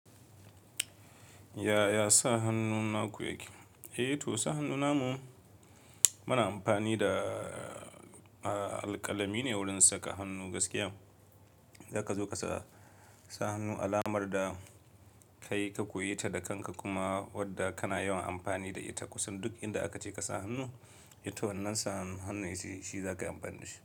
Ya, ya sa hannu naku yake? Eh to, sa hannu namu mana amfani da alkalami ne wurin saka hannu gaskiya. Zaka zo ka sa hannu alamar da kai ka koyi ta da kanka kuma wadda kana yawan amfani da ita kusan duk inda aka ce ka sa hannu. Eh to wannan sa hannun shi zai zaka yi amfani da shi.